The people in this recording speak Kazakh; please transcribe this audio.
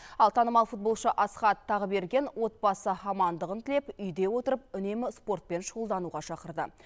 ал танымал футболшы асқат тағыберген отбасы амандығын тілеп үйде отырып үнемі спортпен шұғылдануға шақырды